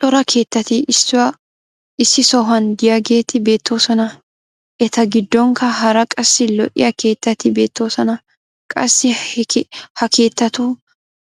cora keettati issi sohuwan diyaageeti beetoosona. eta giddonkka hara qassi lo'iya keettatti beetoosona. qassi ha keettatu